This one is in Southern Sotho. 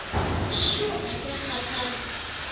shuu ha ke a kgathala